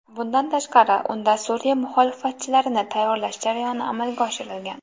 Bundan tashqari, unda Suriya muxolifatchilarini tayyorlash jarayoni amalga oshirilgan.